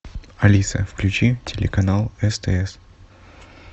алиса включи телеканал стс